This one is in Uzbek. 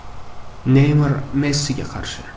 Neymar Messiga qarshi.